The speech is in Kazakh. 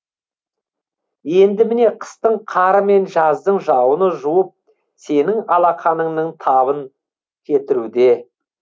енді міне қыстың қары мен жаздың жауыны жуып сенің алақаныңның табын кетіруде